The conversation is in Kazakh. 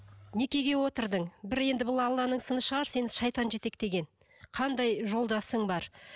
некеге отырдың бір енді бұл алланың сыны шығар сені шайтан жетектеген қандай жолдасың бар